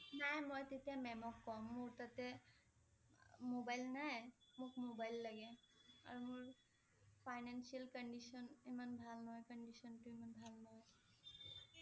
নাই মই তেতিয়া ma'am ক কম । মোৰ তাতে mobile নাই, মোক mobile লাগে। আৰু মোৰ financial condition ইমান ভাল নহয় condition টো ইমান ভাল নহয়